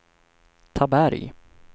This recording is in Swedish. Taberg